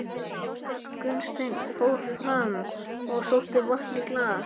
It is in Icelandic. Gunnsteinn fór fram og sótti vatn í glas.